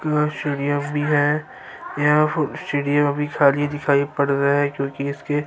یھاں سیڑھیاں بھی ہے، یھاں سیڑھیاں بھی دکھایی پیڈ رہا ہے- کوکی اسکے--